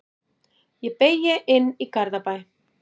Ég beygi inn í Garðabæ.